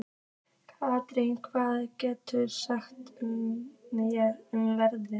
Katerína, hvað geturðu sagt mér um veðrið?